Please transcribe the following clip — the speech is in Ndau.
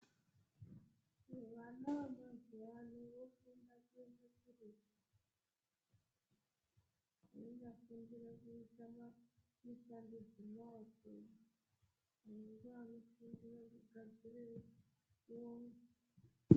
Vana vemazuwa ano vofunda Kuenda kuretu veinyafundira kuita maba mushando dzemaoko vamwe ngevanofundire kugadzirewo.